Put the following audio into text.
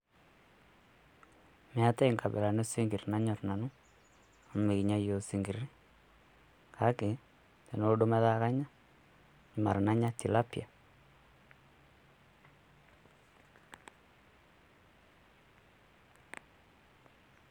Meatai inkabilani osinkir nanyor nanu, amu mekinya iyook isinkir. Kake tenelo duo metaa nanya, mara nanya naa tilapia.